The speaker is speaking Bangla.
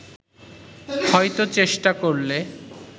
হয়তো চেষ্টা করলে